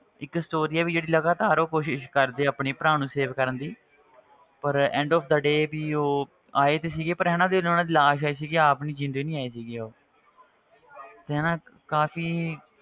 ਇੱਕ story ਆ ਵੀ ਜਿਹੜੀ ਲਗਾਤਾਰ ਉਹ ਕੋਸ਼ਿਸ਼ ਕਰਦੇ ਆ ਆਪਣੇ ਭਰਾ ਨੂੰ save ਕਰਨ ਦੀ ਪਰ end ਉਹ ਘਰੇ ਵੀ ਉਹ ਆਏ ਤੇ ਸੀਗੇ ਪਰ ਹਨਾ ਉਹਨਾਂ ਦੀ ਲਾਸ਼ ਆਈ ਸੀਗੀ ਆਪ ਨੀ ਜ਼ਿੰਦੇ ਨੀ ਆਏ ਸੀਗੇ ਉਹ ਤੇ ਹਨਾ ਕਾਫ਼ੀ